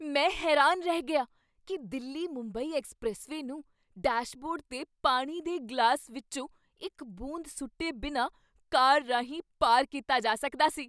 ਮੈਂ ਹੈਰਾਨ ਰਹਿ ਗਿਆ ਕੀ ਦਿੱਲੀ ਮੁੰਬਈ ਐਕਸਪ੍ਰੈਸਵੇਅ ਨੂੰ ਡੈਸ਼ਬੋਰਡ 'ਤੇ ਪਾਣੀ ਦੇ ਗਲਾਸ ਵਿੱਚੋਂ ਇੱਕ ਬੂੰਦ ਸੁੱਟੇ ਬਿਨਾਂ ਕਾਰ ਰਾਹੀਂ ਪਾਰ ਕੀਤਾ ਜਾ ਸਕਦਾ ਸੀ